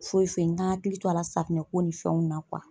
Foyi foyi n ka n hakili to a la safunɛ ko ni fɛnw na .